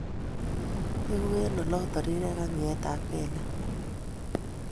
Egu eng oloto rirek ak nyeetab kekek